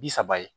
Bi saba ye